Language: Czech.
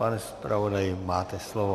Pane zpravodaji, máte slovo.